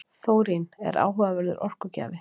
Þórín er áhugaverður orkugjafi.